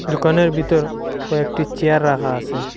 দুকানের বিতর কয়েকটি চেয়ার রাখা আসে।